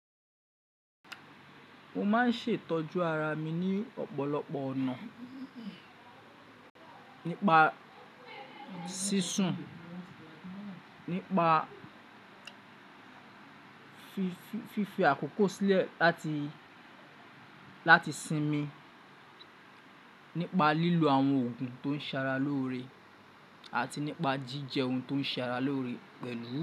Mo máa ń ṣètọ́jú ara mi ní ọ̀pọ̀lọpọ̀ ọ̀nà, nípa sísun, nípa fífi àkókò sílẹ̀ láti láti sinmi, nípa lílo àwọn oògùn tó ń ṣara lóore àti nípa jíjẹ oun tó ń ṣara lóore pẹ̀lú.